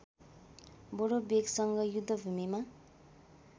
बडो वेगसँग युद्धभूमिमा